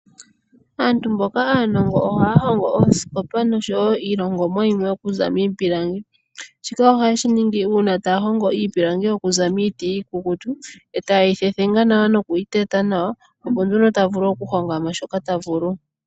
Aantu mboka aanongo ohaya hongo oosikopa nosho wo iilongomwa yimwe oku za miipilangi. Shika ohaye shi ningi uuna taya hongo iipilangi oku za miiti iikukutu, e ta ye yi thethenga nawa noku yi teta nawa, opo nduno ta vulu okuhonga mo shoka ta vulu.